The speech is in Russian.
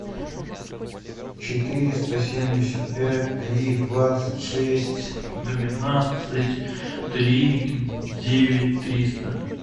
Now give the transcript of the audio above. четыреста семьдесят пять три двадцать шесть двенадцать три девять триста